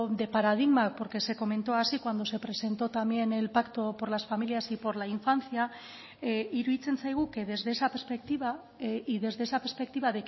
de paradigma porque se comentó así cuando se presentó también el pacto por las familias y por la infancia iruditzen zaigu que desde esa perspectiva y desde esa perspectiva